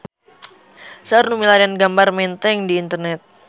Seueur nu milarian gambar Menteng di internet